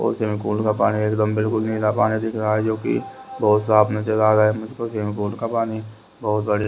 swimming pool का पानी एकदम बिल्कुल नीला पानी दिख रहा है जो कि बहुत साफ नजर आ रहा है मुझको स्विमिंग पूल का पानी बहुत बढ़िया--